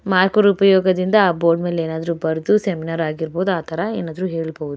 Marker ಉಪಯೋಗದಿಂದ ಆ board ಮೇಲ್ ಏನಾದ್ರೂ ಬರೆದು ಸೆಮಿನಾರ್ ಆಗಿರ್ಬೋದು ಆತರ ಏನಾದ್ರೂ ಹೇಳ್ಬೋದು.